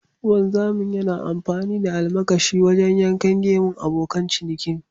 Wanzami yana amfani da almakashi wajen yankan gemun abokan cinikin.